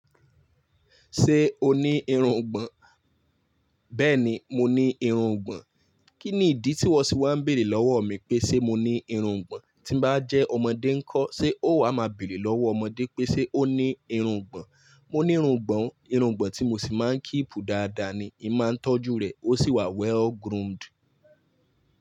Ṣé o ní irungbọ̀n? Bẹ́ẹ̀ni, mo ní irungbọ̀n. Kí ni ìdí tí wọ́n sì wá bèrè lọ́wọ́ mi pé ṣe mo ní irungbọ̀n? Tí bá jẹ́ ọmọdé ńkọ́, ṣe ó wà máa bèrè lọ́wọ́ ọmọdé pé ṣe ó ní irungbọ̀n? Mo ní irungbọ̀n, irungbọ̀n tí mo sì máa ń kíìpù dáadáa ni. Í máa ń tọ́jú rẹ̀, ó sì wà well-groomed.